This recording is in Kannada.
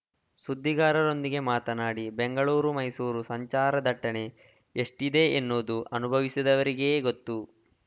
ಸುದ್ದಿಗಾರರೊಂದಿಗೆ ಮಾತನಾಡಿ ಬೆಂಗಳೂರು ಮೈಸೂರು ಸಂಚಾರ ದಟ್ಟಣೆ ಎಷ್ಟಿದೆ ಎನ್ನುವುದು ಅನುಭವಿಸಿದವರಿಗೇ ಗೊತ್ತು